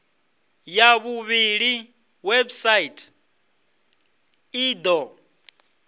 ya vhuvhili website i do